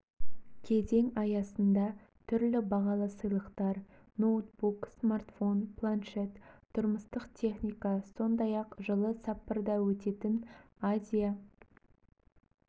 кезең аясында түрлі бағалы сыйлықтар ноутбук смартфон планшет тұрмыстық техника сондай-ақ жылы саппорода өтетін азия